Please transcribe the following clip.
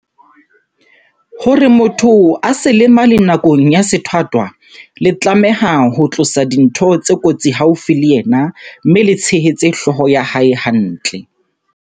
Hore motho a se lemale nakong ya sethwathwa, le tlameha ho tlosa dintho tse kotsi haufi le yena mme le tshehetse hlooho ya hae hantle.